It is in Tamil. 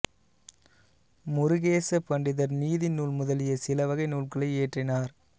முருகேச பண்டிதர் நீதி நூல் முதலிய சிலவகை நூல்களை இயற்றினார்